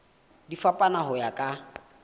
di fapana ho ya ka